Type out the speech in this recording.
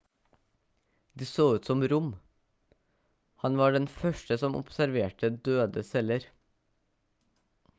de så ut som rom han var den første som observerte døde celler